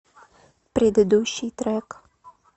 предыдущий трек